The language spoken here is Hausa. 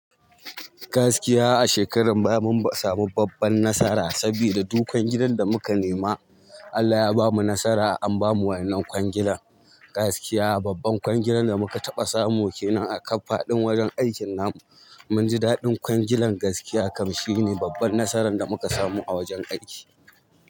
Gaskiya a shekarar baya mun samu babban nasara saboda duk kwangilan da muka nema Allah ya bamu nasara an bamu wa'yannan kwangilan. Gakiya babban kwangilan da muka taɓa samu kenan a kaf faɗin wajen aikin namu mun ji daɗin kwangilan gaskiya kam shine babban nasaran da muka samu a wajen aiki.